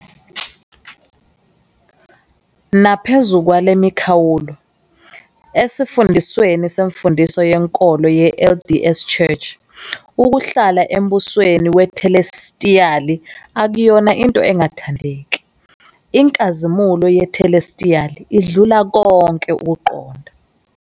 Naphezu kwale mikhawulo, esifundisweni semfundiso yenkolo ye-LDS Church ukuhlala embusweni wethelestiyali akuyona into engathandeki- "inkazimulo yethelestiyali idlula konke ukuqonda".